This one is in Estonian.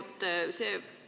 Aitäh!